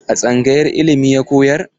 A tsangayar ilimi ya koyar?